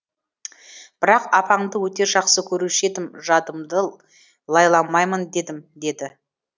бірақ апаңды өте жақсы көруші едім жадымды лайламайын дедім деді